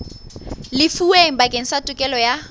lefuweng bakeng sa tokelo ya